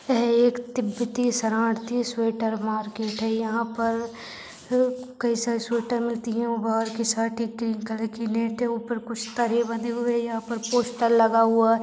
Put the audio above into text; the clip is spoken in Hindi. यह एक तिब्बती शरणार्थी स्वेटर मार्केट है यहाँ पर कई सारे स्वेटर मिलती है वो बहार के साथ ऊपर कुछ तारे बंधे हुए है यहाँपर पोस्टर लगा हुआ--